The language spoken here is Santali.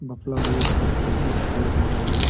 ᱵᱟᱯᱞᱟ ᱦᱩᱭᱩᱜ ᱟᱠᱟᱱ ᱥᱮ ᱪᱮᱫ ᱦᱩᱭᱩᱜ ᱠᱟᱱᱟ ᱱᱚᱰᱮ᱾